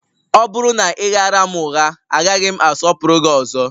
Ọ bụrụ na ị ghaara m ụgha, agaghị m asọpụrụ gị ọzọ